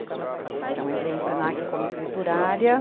Então, eu entrei no Senac como escriturária.